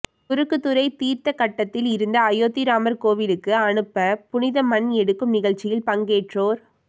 குறுக்குத்துறை தீர்த்தக்கட்டத்தில் இருந்து அயோத்தி ராமர் கோயிலுக்கு அனுப்ப புனித மண் எடுக்கும் நிகழ்ச்சியில் பங்கேற்றோர்